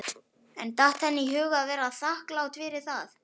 En datt henni í hug að vera þakklát fyrir það?